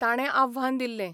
ताणे आव्हान दिल्ले.